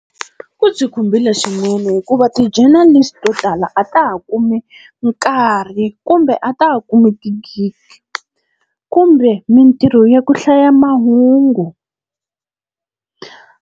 Ku byi khumbile swinene hikuva ti-journalist-i to tala a ta ha kumi nkarhi kumbe a ta ha kumi ti-gig, kumbe mintirho ya ku hlaya mahungu.